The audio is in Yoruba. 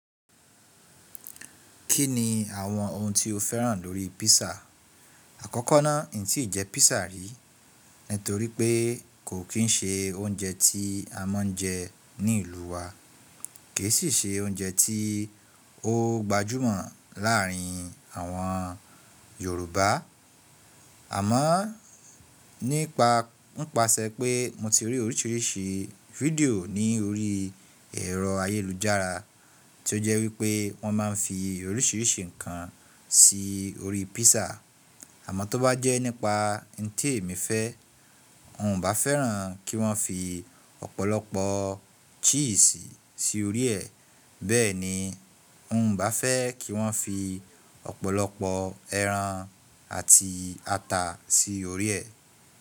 Kí ni àwọn ohun tí o féràn lórí písà? Àkọ́kọ́ náà, n tí ì jẹ písà rí, nítorí pé kò kín ṣe oúnjẹ tí a máa ń jẹ ní ìlú wa, ki i sì ṣe oúnjẹ tí ó gbajúmọ̀ láárín àwọn Yorùbá. Àmọ́ nípa, nípasẹ̀ pé mo ti rí oríṣìíríṣìí fídíò ní orí ẹ̀rọ ayélujára tí ó jẹ́ wípé wọ́n máa ń fi oríṣìíríṣìí nǹkan sí orí písà. Àmọ́ tó bá jẹ́ nípa ntí èmi fẹ́, n bá fẹ́ràn kí wọ́n fi ọ̀pọ̀lọpọ̀ chíìsì sí orí ẹ̀. Bẹ́ẹ̀ ni, n ò bá fẹ́ kí wọ́n fi ọ̀pọ̀lọpọ̀ ẹran àti ata sí orí ẹ̀.